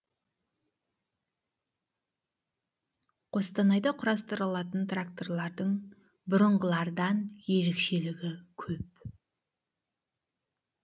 қостанайда құрастырылатын тракторлардың бұрынғылардан ерекшелігі көп